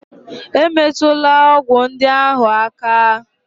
E metula ọgwụ ndị ahụ áká!